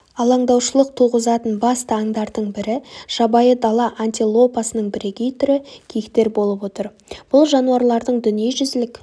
алаңдаушылық туғызатын басты аңдардың бірі жабайы дала антилопасының бірегей түрі киіктер болып отыр бұл жануарлардың дүниежүзілік